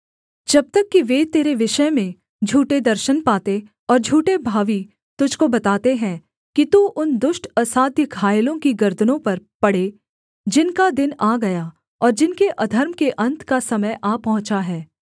जब तक कि वे तेरे विषय में झूठे दर्शन पाते और झूठे भावी तुझको बताते हैं कि तू उन दुष्ट असाध्य घायलों की गर्दनों पर पड़े जिनका दिन आ गया और जिनके अधर्म के अन्त का समय आ पहुँचा है